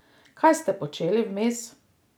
Kaj ste počeli vmes?